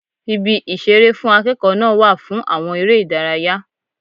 Ibi ìṣeré fún akẹ́kọ̀ọ́ náà wà fún àwọn ère ìdárayá.